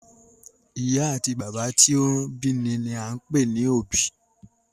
Ì̀yá àti bàbá tí wọn bí ni ni à ń pè ní òbí.